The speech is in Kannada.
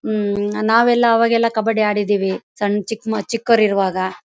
ಮ್ಂ ನಾವೆಲ್ಲ ಅವಾಗೆಲ್ಲ ಕಬ್ಬಡಿ ಆಡಿದೀವಿ ಸಣ್ಣ್ ಚಿಕ್ಕ್ ಮ ಚಿಕ್ಕೊರಿರುವಾಗ .